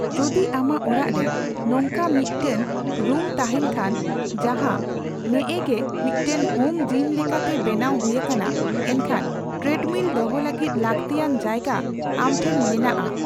ᱡᱩᱫᱤ ᱟᱢᱟᱜ ᱚᱲᱟᱜᱨᱮ ᱱᱚᱝᱠᱟ ᱢᱤᱚᱫᱴᱟᱝ ᱨᱩᱢ ᱛᱟᱦᱮᱱ ᱠᱷᱟᱱ ᱡᱟᱦᱟᱸ ᱱᱮᱜᱼᱮ ᱜᱮ ᱢᱤᱫᱴᱟᱝ ᱦᱳᱢ ᱡᱤᱢ ᱞᱮᱠᱟᱛᱮ ᱵᱮᱱᱟᱣ ᱦᱩᱭ ᱟᱠᱟᱱᱟ, ᱮᱱᱠᱷᱟᱱ ᱴᱨᱮᱰᱢᱤᱞ ᱫᱚᱦᱚ ᱞᱟᱹᱜᱤᱫ ᱞᱟᱹᱠᱛᱤᱭᱟᱱ ᱡᱟᱭᱜᱟ ᱟᱢ ᱴᱷᱮᱱ ᱢᱮᱱᱢᱟᱜᱼᱟ ᱾